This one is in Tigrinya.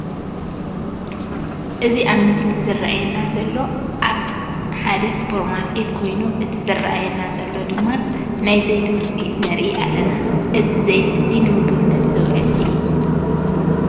እዚ ኣብ ምስሊ ዝረአየና ዘሎ ኣብ ሓደ ስፖር ማርኬት ኮይኑ እቲ ዝረአየና ዘሎ ድማ ናይ ዘይቲ ውፅኢት ንርኢ ኣለና። እዚ ዘይቲ እዚ ንምግብነት ዝውዕል እዩ።